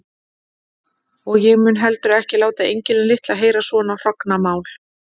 Og ég mundi heldur ekki láta engilinn litla heyra svona hrognamál.